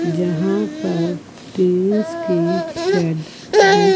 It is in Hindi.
जहाँ पर के शेड है।